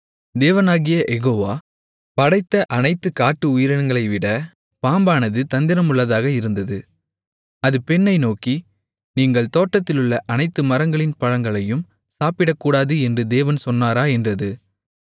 தேவனாகிய யெகோவா படைத்த அனைத்து காட்டு உயிரினங்களைவிட பாம்பானது தந்திரமுள்ளதாக இருந்தது அது பெண்ணை நோக்கி நீங்கள் தோட்டத்திலுள்ள அனைத்து மரங்களின் பழங்களையும் சாப்பிடக்கூடாது என்று தேவன் சொன்னாரா என்றது